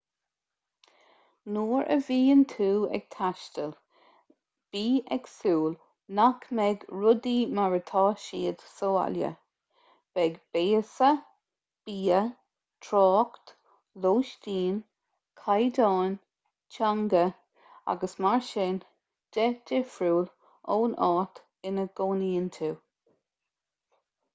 nuair a bhíonn tú ag taisteal bí ag súil nach mbeidh rudaí mar atá siad sa bhaile beidh béasa bia trácht lóistín caighdeáin teanga agus mar sin de difriúil ón áit ina gcónaíonn tú